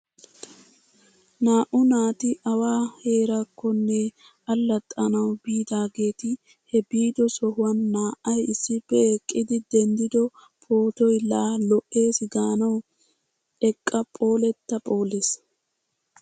Naa"u naati awa heeraakkonne allaxxanawu biidaageeti he biido sohuwan naa"ay issippe eqqidi denddido pootoy laa lo'eesi gaanawu eqqa phoolettaa phoolees!